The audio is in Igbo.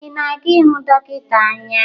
Ị na-aga ịhụ dọkịta anya?